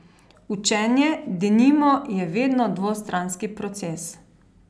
Učenje, denimo, je vedno dvostranski proces.